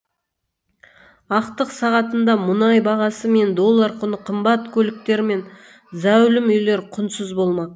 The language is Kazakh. ақтық сағатында мұнай бағасы мен доллар құны қымбат көліктер мен зәулім үйлер құнсыз болмақ